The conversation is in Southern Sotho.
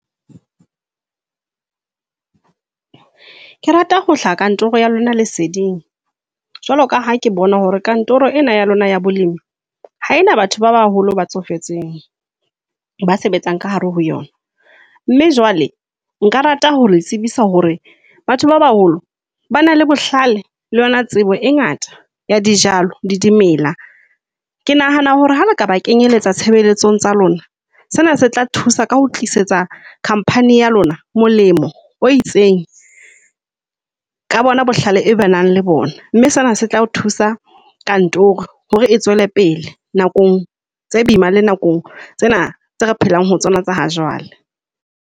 Ke rata ho hlaha kantoro ya lona leseding jwalo ka ha ke bona hore kantoro ena ya lona ya bolemi ha ena batho ba baholo, ba tsofetseng. Ba sebetsang ka hare ho yona mme jwale nka rata ho le tsebisa hore batho ba baholo ba na le bohlale le yona tsebo e ngata ya dijalo le dimela. Ke nahana hore ha re ka ba kenyeletsa tshebeletsong tsa lona, sena se tla thusa ka ho tlisetsa company ya lona molemo o itseng ka bona bohlale ba nang le bona. Mme sena se tla thusa kantoro hore e tswele pele nakong tse boima le nakong tsena tse re phelang ho tsona tsa ha jwale.